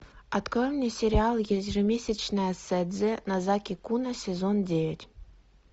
открой мне сериал ежемесячное седзе нозаки куна сезон девять